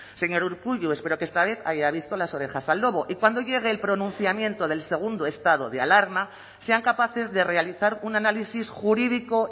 señor urkullu espero que esta vez haya visto las orejas al lobo y cuando llegue el pronunciamiento del segundo estado de alarma sean capaces de realizar un análisis jurídico